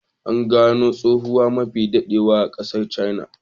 An gano tukwane mafi daɗewa a ƙasar china.